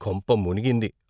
కొంప మునిగింది.